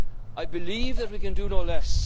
of Europe's problems. I believe